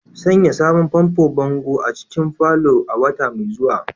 Sanya sabon fanfo bango a cikin parlour a wata mai zuwa